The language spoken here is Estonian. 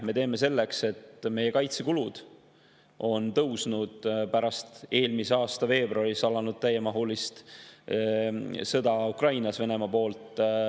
Me teeme seepärast, et meie kaitsekulud on tõusnud pärast eelmise aasta veebruaris Venemaa alustatud täiemahulist sõda Ukrainas.